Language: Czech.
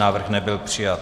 Návrh nebyl přijat.